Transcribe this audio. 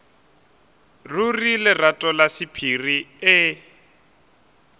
ruri lerato la sephiri e